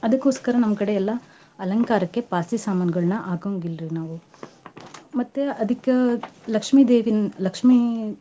ಅದಕೋಸ್ಕರ ನಮ್ ಕಡೆಗ ಎಲ್ಲಾ ಅಲಂಕಾರಕ್ಕ ಪಾಸಿ ಸಮಾನ್ಗಳ್ನ ಹಾಕಂಗಿಲ್ರಿ ನಾವು ಮತ್ತ್ ಅದಕ್ಕ ಲಕ್ಷ್ಮೀ ದೇವಿನ್ ಲಕ್ಷ್ಮೀ.